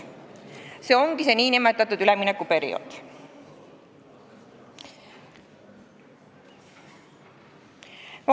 See ongi üleminekuperiood.